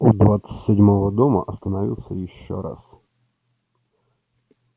у двадцать седьмого дома остановился ещё раз